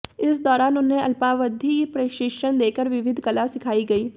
इस दौरान उन्हें अल्पावधि प्रशिक्षण देकर विविध कला सिखाई गई